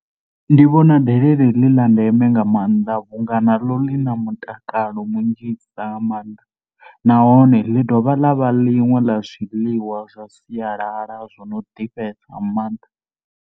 Ndi vhona delele ḽi ḽa ndeme nga maanḓa vhu nga naḽo ḽi na mutakalo munzhisa nga maanḓa nahone ḽi dovha ḽa vha ḽiṅwe ḽa zwiḽiwa zwa sialala zwo no ḓifhesa nga maanḓa.